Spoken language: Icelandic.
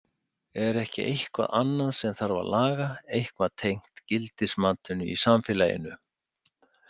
Er ekki eitthvað annað sem þarf að laga, eitthvað tengt gildismatinu í samfélaginu?